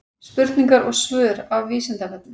Spurningar og svör af Vísindavefnum.